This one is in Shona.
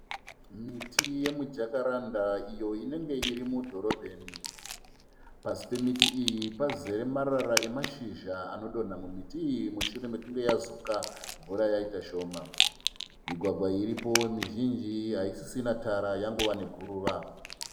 Miti yemuJacaranda iyo inenge iri mudhorobheni. Pasi pemiti iyi pazere marara emashizha anodonha mumuti iyi mushure mekunge yazuka mvura yaita shoma . Migwagwa iripo mizhinji haisisina tara yangova neguruva .